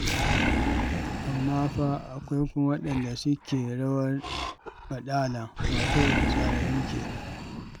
Amma fa akwai kuma waɗanda suke rawar baɗala, wato fitsararru kenan.